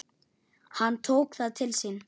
Hann tók það til sín